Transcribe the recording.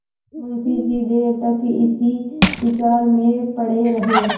मुंशी जी देर तक इसी विचार में पड़े रहे